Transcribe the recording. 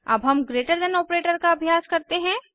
अब हम greater than operator का अभ्यास करते हैं